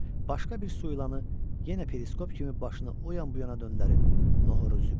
Başqa bir su ilanı yenə periskop kimi başını o yan bu yana döndərib noxuru üzüb keçdi.